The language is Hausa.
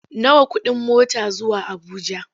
Nawa kuɗin mota zuwa Abuja?